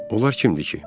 Onlar kimdir ki?